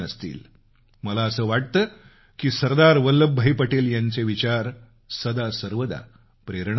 मला असं वाटतं की सरदार वल्लभभाई पटेल यांचे विचार सदा सर्वदा प्रेरणा देणारे आहेत